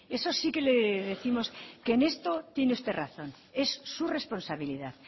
eso sí que le décimos que en esto tiene usted razón es su responsabilidad